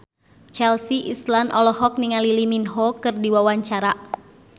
Chelsea Islan olohok ningali Lee Min Ho keur diwawancara